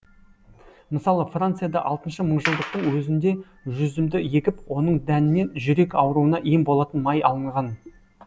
мысалы францияда алтыншы мыңжылдықтың өзіңде жүзімді егіп оның дәнінен жүрек ауруына ем болатын май алынған